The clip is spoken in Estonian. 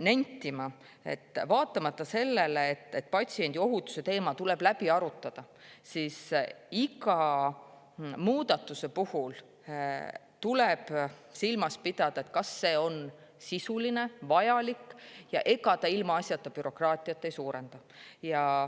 nentima, et vaatamata sellele, et patsiendi ohutuse teema tuleb läbi arutada, tuleb iga muudatuse puhul silmas pidada, kas see on sisuline ja vajalik ja ega see ilmaasjata bürokraatiat ei suurenda.